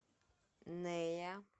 нея